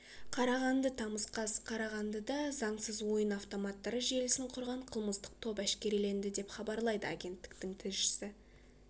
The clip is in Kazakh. қарағанды тамыз қаз қарағандыда заңсыз ойын автоматтар желісін құрған қылмыстық топ әшкереленді деп хабарлайды агенттіктің тілшісі